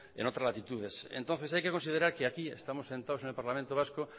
en otras latitudes entonces hay que considerar que aquí estamos sentados en el parlamento vasco